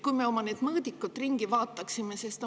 Kui me oma mõõdikud ringi?